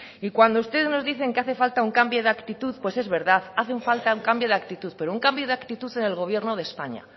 y cuando ustedes nos dicen que hace falta un cambio de actitud pues es verdad hace falta un cambio de actitud pero un cambio de actitud en el gobierno de españa